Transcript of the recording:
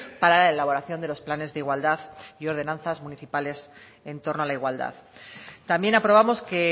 para la elaboración de los planes de igualdad y ordenanzas municipales en torno a la igualdad también aprobamos que